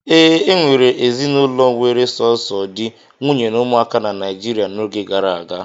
Ee, enwere ezinụlọ were sọsọ di, nwunye na ụmụaka na Naịjirịa n'oge gara aga.